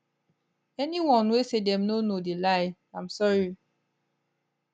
anyone wey say dem no know dey lie im sorry